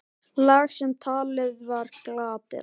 Lag sem talið var glatað.